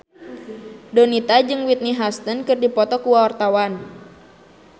Donita jeung Whitney Houston keur dipoto ku wartawan